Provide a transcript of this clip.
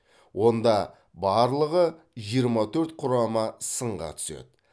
онда барлығы жиырма төрт құрама сынға түседі